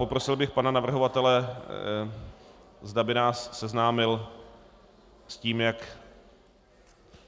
Poprosil bych pana navrhovatele, zda by nás seznámil s tím, jak